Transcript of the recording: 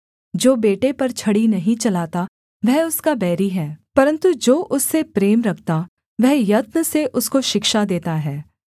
जो बेटे पर छड़ी नहीं चलाता वह उसका बैरी है परन्तु जो उससे प्रेम रखता वह यत्न से उसको शिक्षा देता है